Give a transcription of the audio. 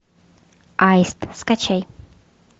аист скачай